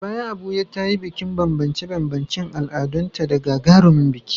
A baya Abuja ta yi bikin banbance-banbancen al’adunta da gagarumin biki.